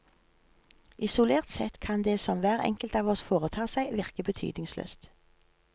Isolert sett kan det som hver enkelt av oss foretar seg, virke betydningsløst.